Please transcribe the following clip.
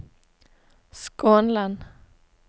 Skånland